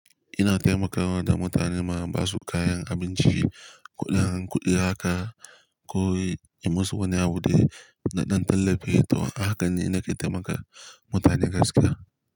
Ina taimakawa da mutane ma basu kayan abinci, ko ɗan, kuɗi haka ko yi musu wani abu da ɗan tallafi, to ahakan ne nake taimaka mutane gaskiya.